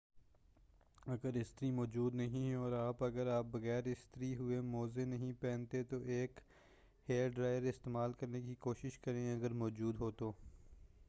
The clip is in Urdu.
اگر استری موجود نہیں ہے اور آپ اگر آپ بغیر استری ہوئے موزے نہیں پہنتے تو ایک ہیئر ڈرائر استعمال کرنے کی کوشش کریں اگر موجو ہو